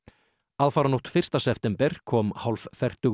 aðfaranótt fyrsta september kom